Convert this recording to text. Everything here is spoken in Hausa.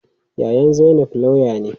Yayan zainab lauya ne.